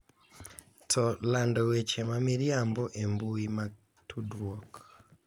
To lando weche ma miriambo e mbui mag tudruok .